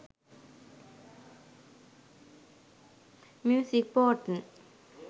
music photn